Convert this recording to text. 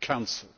Council.